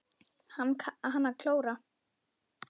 Kann að klóra.